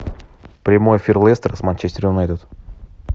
прямой эфир лестер с манчестер юнайтед